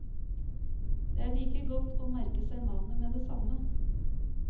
Det er like godt å merke seg navnet med det samme.